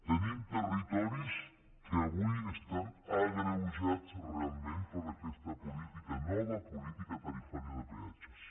tenim territoris que avui estan agreujats realment per aquesta política nova política tarifària de peatges